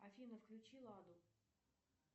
афина включи ладу